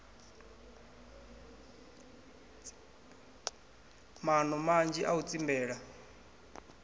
maano manzhi a u tsimbela